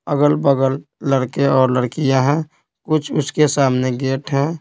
अगल-बगल लड़के और लड़कियां हैं कुछ उसके सामने गेट हैं।